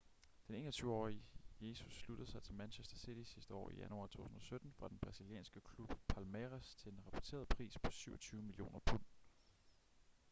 den 21-årige jesus sluttede sig til manchester city sidste år i januar 2017 fra den brasilianske klub palmeiras til en rapporteret pris på 27 millioner pund